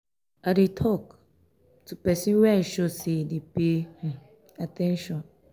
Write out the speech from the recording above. i dey tok um to pesin wey i sure sey e dey pay um um at ten tion.